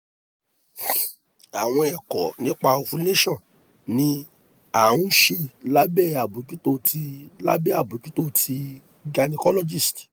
awọn ẹkọ nipa ovulation ni a nṣe labẹ abojuto ti labẹ abojuto ti gynecologist